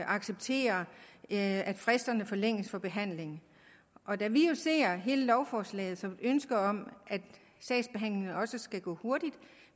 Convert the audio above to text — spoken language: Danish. acceptere at fristerne forlænges for behandling og da vi jo ser hele lovforslaget som et ønske om at sagsbehandlingen også skal gå hurtigt